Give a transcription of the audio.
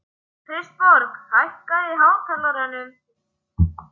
Kristborg, hækkaðu í hátalaranum.